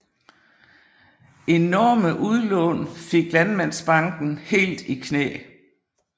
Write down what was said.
Enorme udlån fik Landmandsbanken helt i knæ